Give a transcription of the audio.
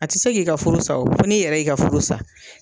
A ti se k'i ka furu sa o fo n'i yɛrɛ y'i ka furu sa.